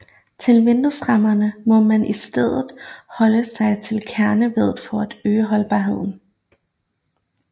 Til vinduesrammer må man i stedet holde sig til kerneveddet for at øge holdbarheden